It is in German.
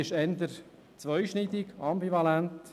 Diese ist eher zweischneidig, ambivalent.